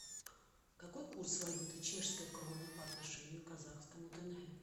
какой курс валюты чешской кроны по отношению к казахскому тенге